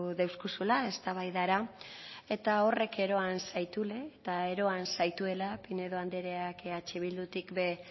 deuskuzula eztabaidara eta horrek eroan zaituela eta eroan zaituela pinedo andreak eh bildutik ere